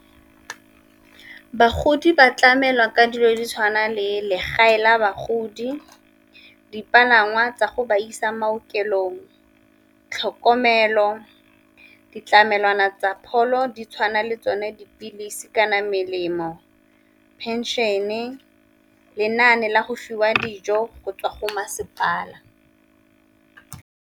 Ke bagodi ba tlamelwa ka dilo ditshwana le legae la bagodi, dipalangwa tsa go ba isa maokelong, tlhokomelo, ditlamelwana tsa pholo di tshwana le tsone dipilisi kana melemo, pension-e, lenane la go fiwa dijo go tswa go masepala.